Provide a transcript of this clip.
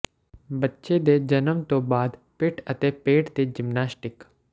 ਬੱਚੇ ਦੇ ਜਨਮ ਤੋਂ ਬਾਅਦ ਪਿੱਠ ਅਤੇ ਪੇਟ ਦੇ ਜਿਮਨਾਸਟਿਕ